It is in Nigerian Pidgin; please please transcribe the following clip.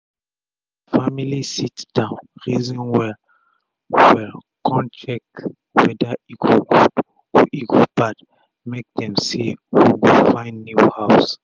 d family sit down reason well um well kon check weda e go good or e go bad make um dem stay or go find new house.